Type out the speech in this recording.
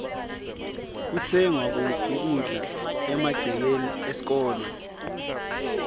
kutsengwa kuphi kudla emagcekeni esikolwe